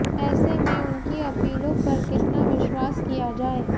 ऐसे में उनकी अपीलों पर कितना विश्वास किया जाए